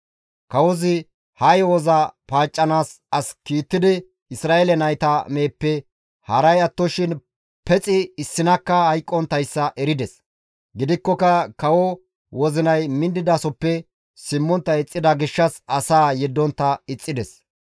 Kawozi ha yo7oza paaccanaas as kiittidi Isra7eele nayta meheppe, haray attoshin pexi issinakka hayqqonttayssa erides. Gidikkoka kawoza wozinay minnidasoppe simmontta ixxida gishshas asaa yeddontta ixxides.